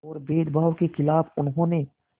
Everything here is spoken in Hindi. और भेदभाव के ख़िलाफ़ उन्होंने